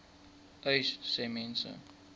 uys sê mense